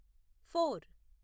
four